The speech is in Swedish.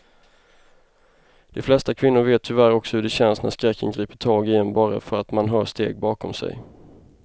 De flesta kvinnor vet tyvärr också hur det känns när skräcken griper tag i en bara för att man hör steg bakom sig.